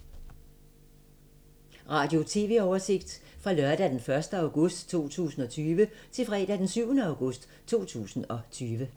Radio/TV oversigt fra lørdag d. 1. august 2020 til fredag d. 7. august 2020